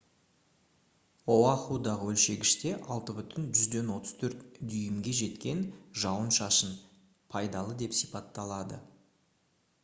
оахудағы өлшегіште 6,34 дюймге жеткен жауын-шашын «пайдалы» деп сипатталды